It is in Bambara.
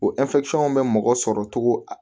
O bɛ mɔgɔ sɔrɔ cogo a